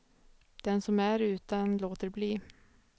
Den som är utan låter bli.